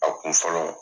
A kun fɔlɔ